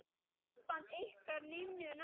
Samband ykkar Ninnu náið.